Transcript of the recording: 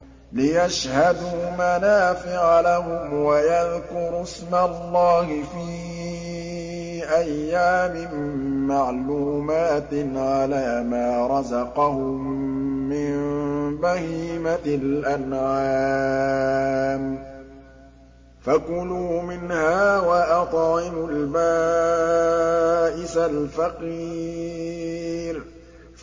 لِّيَشْهَدُوا مَنَافِعَ لَهُمْ وَيَذْكُرُوا اسْمَ اللَّهِ فِي أَيَّامٍ مَّعْلُومَاتٍ عَلَىٰ مَا رَزَقَهُم مِّن بَهِيمَةِ الْأَنْعَامِ ۖ فَكُلُوا مِنْهَا وَأَطْعِمُوا الْبَائِسَ الْفَقِيرَ